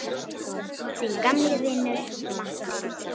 Þinn gamli vinur Matti.